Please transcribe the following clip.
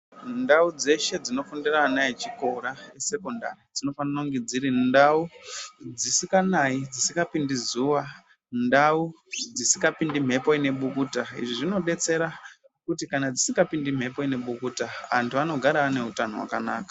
Ndau dzeshe dzinofundira ana echikora esekondari dzinofanira kunge dziri ndau dzisinganayi dzisingapindi zuwa, ndau dzisingapindi mhepo inebukuta izvi zvinodetsera kuti kana dzisingapindi mhepo inebukuta antu anogara ane utano hwakanaka.